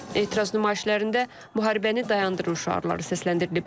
Etiraz nümayişlərində “müharibəni dayandırın” şüarları səsləndirilib.